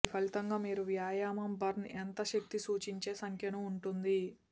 ఈ ఫలితంగా మీరు వ్యాయామం బర్న్ ఎంత శక్తి సూచించే సంఖ్యను ఉంటుంది